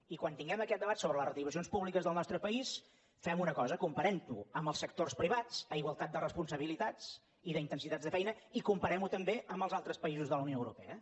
i quan tinguem aquest debat sobre les retribucions públiques del nostre país fem una cosa comparem ho amb els sectors privats a igualtat de responsabilitats i d’intensitats de feina i comparem ho també amb els altres països de la unió europea